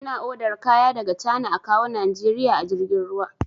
Ina odar kaya daga cana a kawwo najeriya a jirgin ruwa